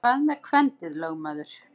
Hvað með kvendið, lögmaður?